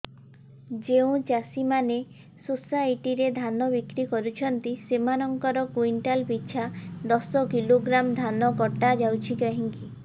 ଯେଉଁ ଚାଷୀ ମାନେ ସୋସାଇଟି ରେ ଧାନ ବିକ୍ରି କରୁଛନ୍ତି ସେମାନଙ୍କର କୁଇଣ୍ଟାଲ ପିଛା ଦଶ କିଲୋଗ୍ରାମ ଧାନ କଟା ଯାଉଛି କାହିଁକି